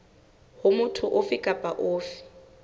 ho motho ofe kapa ofe